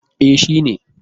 E, shi ne